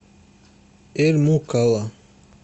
эль мукалла